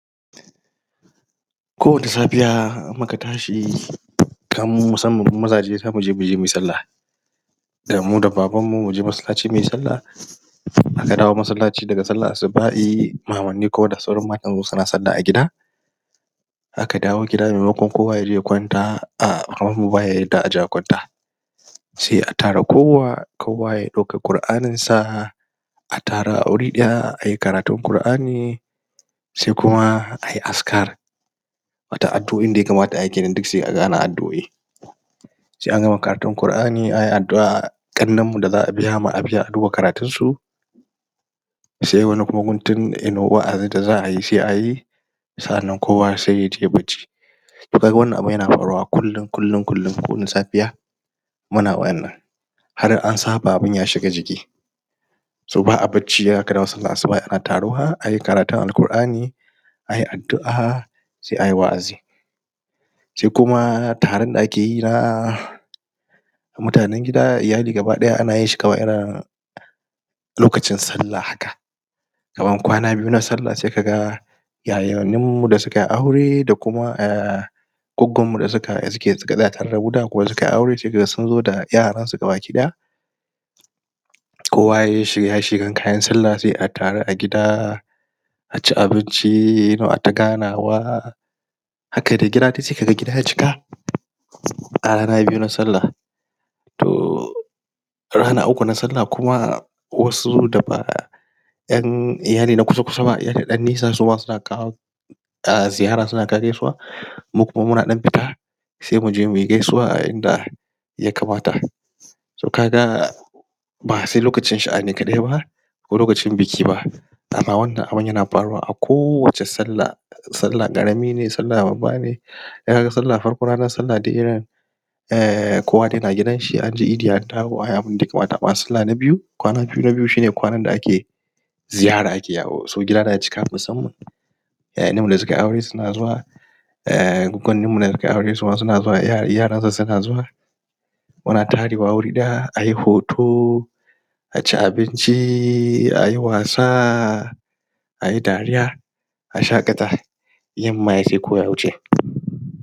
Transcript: Kowace safiya muka tashi (?????) zamu je muyi sallah Damu da baban mu muje masallaci muyi sallah In aka dawo masallaci daga sallar asuba'i Koda sauran matayen suna sallah a gida Aka dawo gida maimakon kowa yaje ya kwanta Umm baya yadda aje a kwanta Sai a tara Kowa ya dauka quranin sa A tare a wuri daya ayi karatun qurani Saikuma ayi askar Wata addu'an daya kamata ayi kenan duk sai aga ana addu'oi Sai a gama karatun qur'ani ayi addu'a ƙannen da za'a biyama abiya ma karatun su Sai wani kuma guntun wa'azi da za'ayi sai'ayi Sannan kuma sai atai ai barci To kaga wannan abun yana faruwa kullum, kullum, kullum safiya Ana wannan Har'an saba abun yashiga jiki S o ba'a bacci kira sallar asubah ana taruwa ayi karatun alqur'ani Ayi addu'a Sai ayi wa'azi Sai kuma taron da akeyi na... Mutanen gida, iyali gaba daya ana yinshi kawai irin, Lokacin sallah haka Tsawon kwana biyu na sallah sai kaga Yayannu da sukai aure da kuma Yaya da suka, da suke suka tsaya tare damu da kuma sukai aure saikaga sunzo da yaransu baki daya Kowa yayi shirya shiryan kayan sallah sai'a taru a gida.. Aci abinci aita ganawa... Haka dai gida saikaga gida ya cika Kwana biyu na sallah A rana na uku kuma na sallah Wasu da Yan ina ne na kusa kusa irin dannisan suba suna kawo Umm ziyara suna kawo gaisuwa Lokutan muna dan fita Sai muje muyi gaisuwa ah inda Ya kamata So kaga Ba sai lokacin sha'ani kadai bah Ko lokacin biki ba Dama wannan abun yana faruwa a kowace sallah Sallah ƙarami ne sallah babba ne sallahharfa ranar sallah Umm Kowa dai na gidanshianje Idi andawo anyi abunda ya kamata amma sallah na biyu Kwana biyu na biyu shine kwanan da ake Ziyara ake yawo so gida na cika musamman Iyalan mu da sukai aure suna zuwa Umm Sukai aure suma suna zuwa umm yaran su suna zuwa Muna tarewa wuri daya ayi hoto... Aci abinci ayi wasa Ayi dariya A shaƙata Yamma yayi sai kowa ya wuce